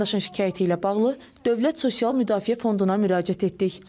Vətəndaşın şikayəti ilə bağlı Dövlət Sosial Müdafiə Fonduna müraciət etdik.